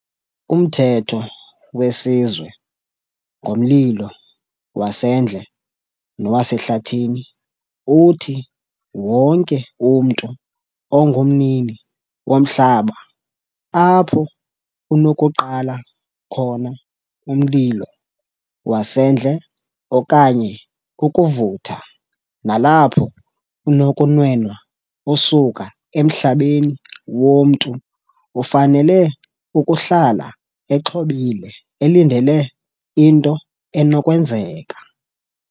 Umthetho weSizwe ngoMlilo waseNdle nowaseHlathini uthi wonke umntu ongumnini womhlaba apho unokuqala khona umlilo wasendle okanye ukuvutha nalapho unokunwenwa usuka emhlabeni womntu ufanele ukuhlala exhobile elindele into enokwenzeka.